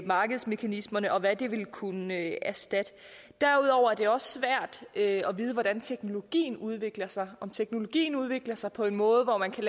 markedsmekanismerne og hvad det vil kunne erstatte derudover er det også svært at vide hvordan teknologien udvikler sig om teknologien udvikler sig på en måde hvor man kan